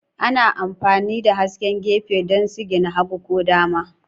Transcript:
Ana amfani da hasken gefe don sigina hagu ko dama